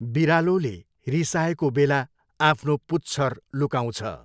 बिरालोले रिसाएको बेला आफ्नो पुच्छर लुकाउँछ।